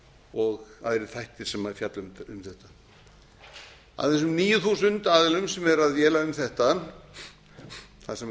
og aðrir þættir sem fjalla um þetta af þessum níu þúsund aðilum sem eru að véla um þetta þar sem geta